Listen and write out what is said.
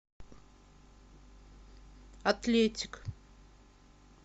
атлетик